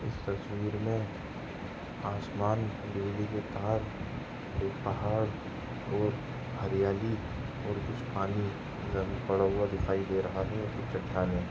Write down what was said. इस तस्वीर मे आसमान बिजली के तार एक पहाड़ और हरियाली और कुछ पानी जमीन पे पड़ा हुआ दिखाई दे रहा है और कुछ चट्टाने--